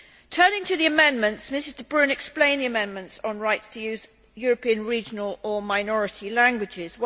Turning to the amendments, Mrs de Brún explained the amendments on the rights to use European regional or minority languages.